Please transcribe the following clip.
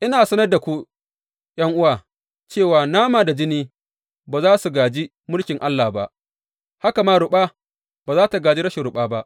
Ina sanar da ku, ’yan’uwa, cewa nama da jini ba za su gāji mulkin Allah ba, haka ma ruɓa ba zai gāji rashin ruɓa ba.